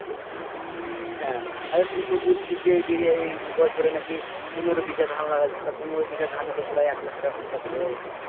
হ্যাঁ তুই তো বলছিস যে এইদিকে এই বছরে নাকি পনেরো ভিগা ধান লাগাইচোস। তা পনেরো ভিগা ধানে তো প্রায় এক লাক্ষ টাকা হয়ে যাবে।